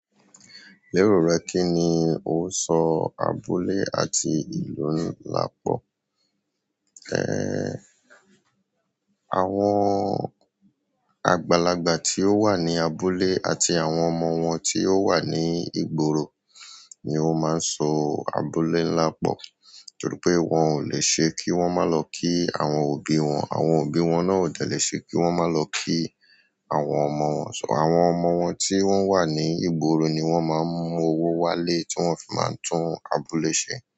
Lérò rẹ kíni ó sọ abúlé àti ìlú papọ̀? Ehn, àwọn àgbàlagbà tí ó wà ní abúlé àti àwọn ọmọ wọn tí ó wà ní ìgboro ni ó máa ń so abúlé ńlá pọ̀. Nítorí pé wọn ò lè ṣe kí wọ́n má lọ kí àwọn òbí wọn, àwọn òbí wọn náà ò dẹ̀ lè ṣe kí wọ́n má lọ kí àwọn ọmọ wọn. So àwọn ọmọ wọn tí wọ́n wà ní ìgboro ni wọ́n máa ń mú owó wálé tí wọ́n fi máa ń tún abúlé ṣe.